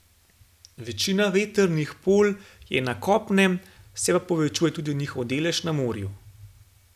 Večina vetrnih polj je na kopnem, se pa povečuje tudi njihov delež na morju.